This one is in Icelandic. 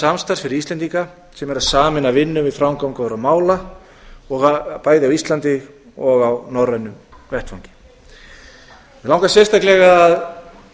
samstarfs fyrir íslendinga sem er að sameina vinnu við framgöngu mála bæði á íslandi og á norrænum vettvangi mig langar sérstaklega að